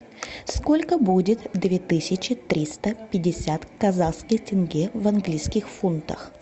сколько будет две тысячи триста пятьдесят казахских тенге в английских фунтах